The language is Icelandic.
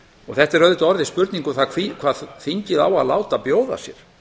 þetta er auðvitað orðið spurning um það hvað þingið á að láta bjóða sér